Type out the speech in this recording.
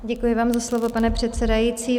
Děkuji vám za slovo, pane předsedající.